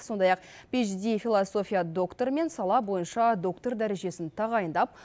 сондай ақ пэйдж ди философия докторы мен сала бойынша доктор дәрежесін тағайындап